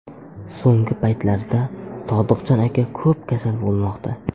So‘nggi paytlarda Sodiqjon aka ko‘p kasal bo‘lmoqda.